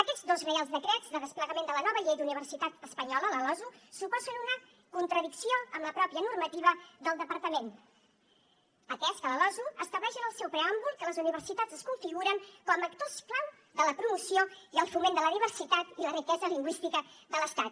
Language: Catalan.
aquests dos reials decrets de desplegament de la nova llei d’universitat espanyola la losu suposen una contradicció amb la pròpia normativa del departament atès que la losu estableix en el seu preàmbul que les universitats es configuren com a actors clau de la promoció i el foment de la diversitat i la riquesa lingüística de l’estat